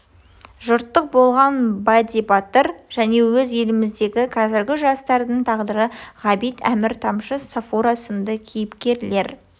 жұрттық болған бадди-батыр және өз еліміздегі қазіргі жастардың тағдыры ғабит әмір тамшы сафура сынды кейіпкерлер